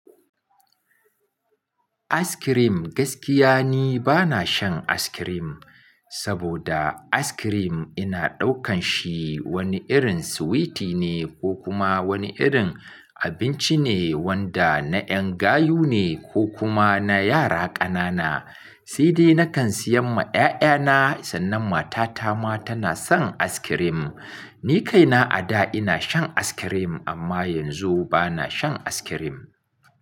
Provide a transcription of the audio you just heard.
Aiskirim gaskiya ne bana shan aiskirim, saboda aiskirim ina ɗaukan shi wani irin sweetie ne ko kuma wani irin abinci ne wanda na ƴan gayu ne ko kuma na yara ƙanana. Saidai nakan siyan ma 'ya'ya na sannan matata ma tana son aiskirim. Ni kaina a da ina shan aiskirim amma yanzu bana shan aiskirim.